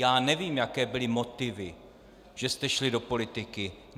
Já nevím, jaké byly motivy, že jste šli do politiky.